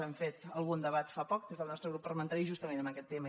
hem fet algun debat fa poc des del nostre grup parlamentari justament en aquest tema